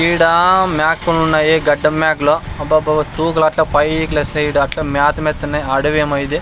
ఈడ మేకలున్నాయి గడ్డం మేకలు అబ్బబ్బబ్బ తూకులట్లే పైకి లేస్తాయి ఈడట్లే మేత మేస్తున్నాయ్ అడవి ఏమో ఇది.